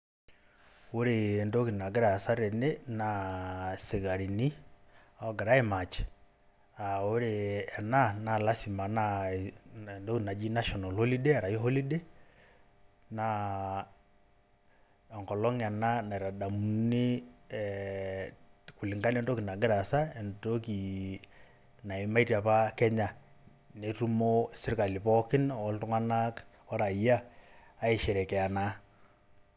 Ore entoki nagirra aasa tene naa isikarini oo gira ai match aa ore ena naa lazima entoki naji national holiday naa enkolong ena naitadamuni ee kulingana entoki nagirra aasa. Ore entoki nayimatie apa Kenya netumo sirkali pookin oltungani rayia aisherekea naa.